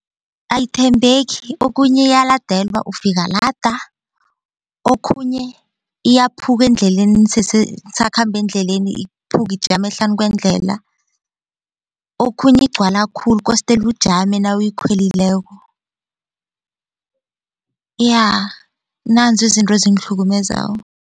Ayithembeki okhunye iyalandelwa ufika lada, okhunye iyaphuka endleleni nisakhamba endleleni iphuke ijame hlanu kwendlela okhunye igcwala khulu kostele ujame nawuyikhwelileko iya nanzi izinto ezingihlukumezako.